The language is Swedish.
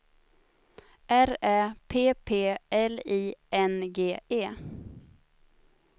R Ä P P L I N G E